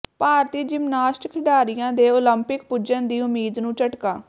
ਭਾਰਤੀ gymnast ਖਿਡਾਰੀਆਂ ਦੇ Olympic ਪੁੱਜਣ ਦੀ ਉਮੀਦ ਨੂੰ ਝਟਕਾ